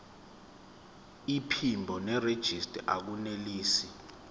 iphimbo nerejista akunelisi